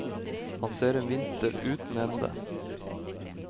Han ser en vinter uten ende.